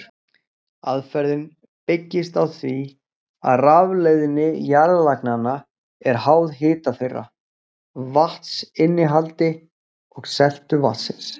Aðferðin byggist á því að rafleiðni jarðlaganna er háð hita þeirra, vatnsinnihaldi og seltu vatnsins.